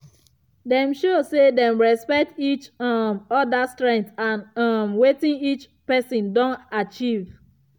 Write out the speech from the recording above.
dem show say dem respect each um other strength and um wetin each person don achieve.